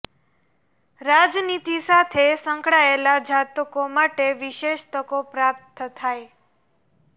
રાજનીતિ સાથે સંકળાયેલા જાતકો માટે વિશેષ તકો પ્રાપ્ત થાય